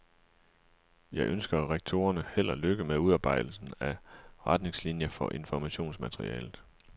Jeg ønsker rektorerne held og lykke med udarbejdelsen af retningslinier for informationsmaterialet.